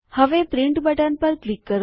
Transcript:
હવે print button પર click કરો